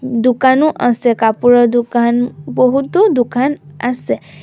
দোকানো আছে কাপোৰৰ দোকান বহুতো দোকান আছে।